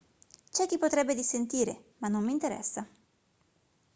c'è chi potrebbe dissentire ma non mi interessa